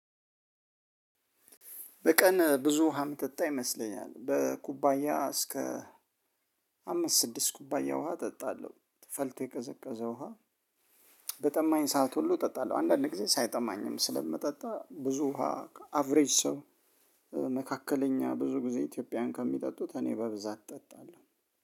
በቀን ብዙ ውሃ እምጠጣ ይመስለኛል በኩባያ እስከ አምስት ስድስት ኩባያ ውሃ ጠጣለው ፈልቶ የቀዘቀዘ ውሃ በጠማኝ ሰዓት ሁሉ ጠጣለሁ አንዳንድ ጊዜ ሳይጠማኝም ስለምጠጣ ብዙ ውሃ አቭሬጅ ሰው መካከለኛ ብዙ ጊዜ ኢትዮጵያውያን ከሚጠጡት እኔ በብዛት እጠጣለሁ